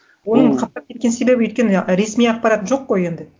оның қаптап кеткен себебі өйткені ресми ақпарат жоқ қой енді